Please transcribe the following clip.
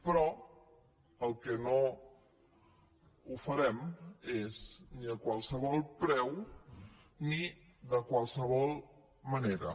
però el que no ho farem és ni a qualsevol preu ni de qualsevol manera